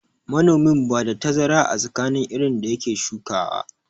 Manomin na ba da tazara a tsakanin irin da ya ke shukawa.